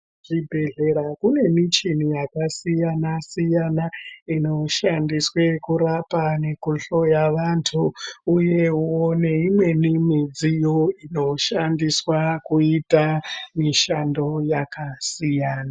Zvibhedhlera zvine michini yakasiyana siyana inoshandiswa kurapa kuhloya vantu uyewo neimweni midziyo inoshandiswa kuita mishando yakasiyana.